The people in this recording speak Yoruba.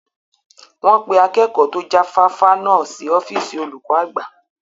Wọn pé Akẹ́kọ̀ to jáfáfá náà sì ọ́fíìsì olùkọ́ àgbà